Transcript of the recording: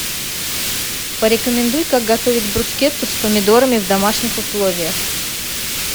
порекомендуй как готовить брускетту с помидорами в домашних условиях